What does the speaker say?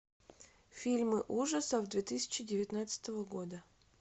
фильмы ужасов две тысячи девятнадцатого года